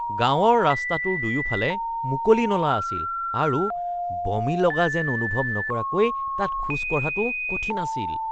গাঁৱৰ ৰাস্তাটোৰ দুয়োফালে মুকলি নলা আছিল আৰু বমি লগা যেন অনুভৱ নকৰাকৈ তাত খোজ কঢ়াটো কঠিন আছিল।